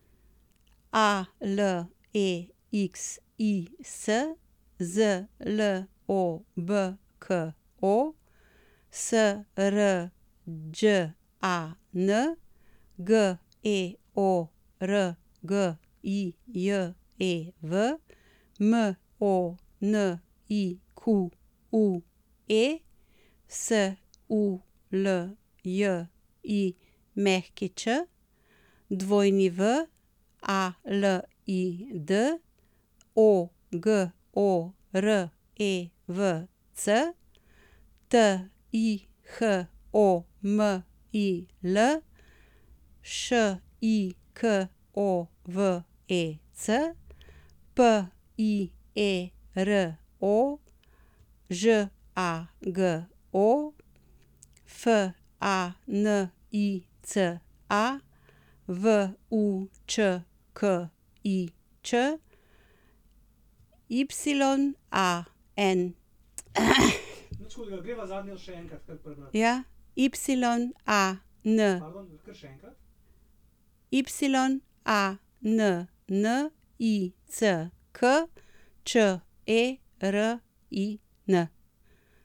Alexis Zlobko, Srđan Georgijev, Monique Suljić, Walid Ogorevc, Tihomil Šikovec, Piero Žago, Fanica Vučkič, Yannick Čerin.